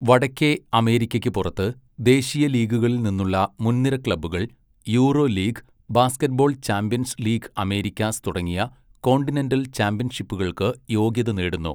വടക്കേ അമേരിക്കയ്ക്ക് പുറത്ത്, ദേശീയ ലീഗുകളിൽ നിന്നുള്ള മുൻനിര ക്ലബ്ബുകൾ Euroleague, basketball champions league Americas തുടങ്ങിയ കോണ്ടിനെന്റൽ ചാമ്പ്യൻഷിപ്പുകൾക്ക് യോഗ്യത നേടുന്നു.